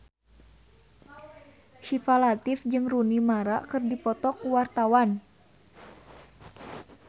Syifa Latief jeung Rooney Mara keur dipoto ku wartawan